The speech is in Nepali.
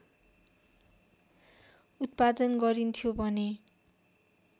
उत्पादन गरिन्थ्यो भने